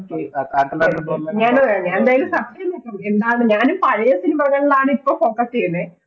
ഞാനും അതെ, ഞാനും പഴയ cinema കളിലാണ് ആണ് ഇപ്പൊ Focus ചെയ്യുന്നേ